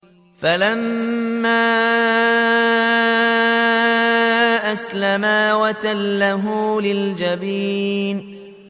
فَلَمَّا أَسْلَمَا وَتَلَّهُ لِلْجَبِينِ